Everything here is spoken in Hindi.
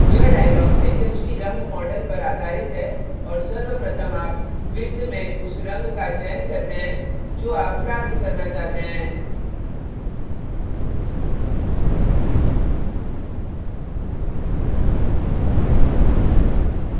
यह dialog hsv रंग model पर आधारित है और सर्वप्रथम आप वृत्त में उस रंग का चयन करते हैं जो आप प्राप्त करना चाहते हैं